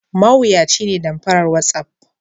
Mawuyaci ne damfaran watsapp.